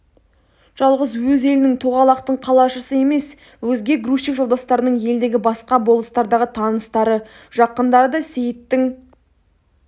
жалғыз өз елінің тоғалақтың қалашысы емес өзге грузчик жолдастарының елдегі басқа болыстардағы таныстары жақындары да сейіттің